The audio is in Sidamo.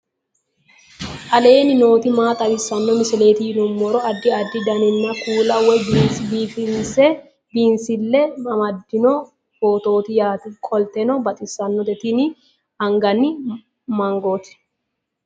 aleenni nooti maa xawisanno misileeti yinummoro addi addi dananna kuula woy biinsille amaddino footooti yaate qoltenno baxissannote tini anganni mangooti